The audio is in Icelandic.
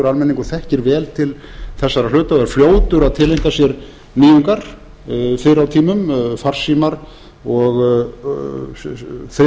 almenningur þekkir vel til þessara hluta og er fljótur að tileinka sér nýjungar fyrr á tímum farsíma og þriðja kynslóð